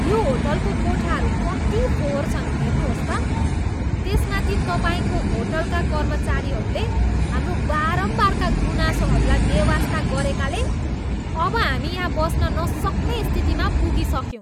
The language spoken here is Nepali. यो होटलको कोठाहरू कति फोहोर छन्, हेर्नुहोस् त। त्यसमाथि तपाईँको होटलका कर्मचारीहरूले हाम्रो बारम्बारका गुनासोहरूलाई बेवास्ता गरेकाले अब हामी यहाँ बस्न नसक्ने स्थितिमा पुगिसक्यौँ।